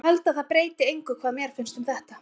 Ég held að það breyti engu hvað mér finnst um þetta.